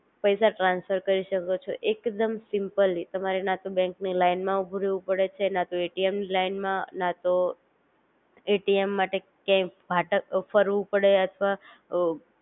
પૈસા ટ્રાન્સફર કરી શકો છો એકદમ સિમ્પલી તમારે ના તો બેન્ક ની લઈને માં ઊભું રેવું પડે છે ના તો એટીએમ ની લઈને માં ના તો એટીએમ માટે કયાય ભાટ ફરવું પડે અથવા અ